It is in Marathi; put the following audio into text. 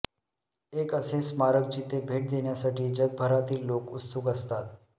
एक असे स्मारक जिथे भेट देण्यासाठी जगभरातील लोक उत्सुक असतात